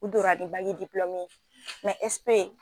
U donra ni bagi dipulɔmu ye ɛsipe